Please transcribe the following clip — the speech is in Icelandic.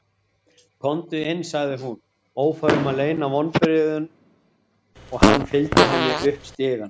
Komdu inn, sagði hún- ófær um að leyna vonbrigðunum- og hann fylgdi henni upp stigann.